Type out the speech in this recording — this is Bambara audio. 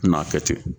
N'a kɛ ten